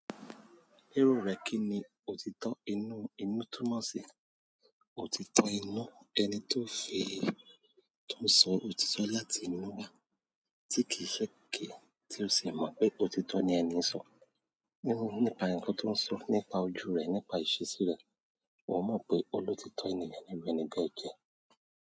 Lero re kini òtítọ́, inú, inú túmọ̀ si e. Òtítọ́ inú, ẹni tó fi, tó ń sọ òtítọ́ láti inú wa, tí kì í ṣe ké, tí ó sì mọ̀ pé òtítọ́ ni ẹni ń sọ. Nípa ǹkan tó ń sọ, nípa ojú rẹ̀, nípa ìṣesí rẹ̀. Wọ́n mọ̀ pé olóòtítọ́ ènìyàn niru ẹni be je.